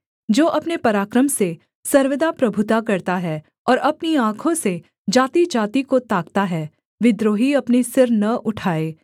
जो अपने पराक्रम से सर्वदा प्रभुता करता है और अपनी आँखों से जातिजाति को ताकता है विद्रोही अपने सिर न उठाए सेला